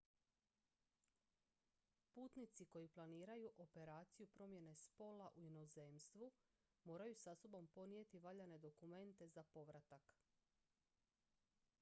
putnici koji planiraju operaciju promjene spola u inozemstvu moraju sa sobom ponijeti valjane dokumente za povratak